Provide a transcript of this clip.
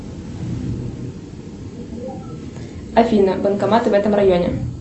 афина банкоматы в этом районе